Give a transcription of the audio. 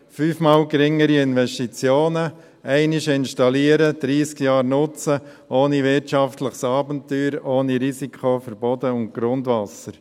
fünf Mal geringere Investitionen, einmal installieren, 30 Jahre nutzen ohne wirtschaftliches Abenteuer, ohne Risiko für Boden und Grundwasser.